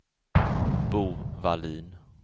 Bo Wallin